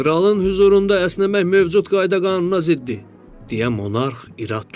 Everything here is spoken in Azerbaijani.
Kralın hüzurunda əsnəmək mövcud qayda-qanuna ziddir, deyə monarx irad tutdu.